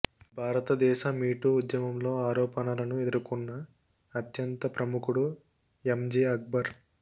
భారతదేశ మీటూ ఉద్యమంలో ఆరోపణలను ఎదుర్కొన్న అత్యంత ప్రముఖుడు ఎంజే అక్బర్